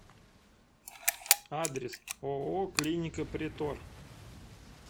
адрес ооо клиника претор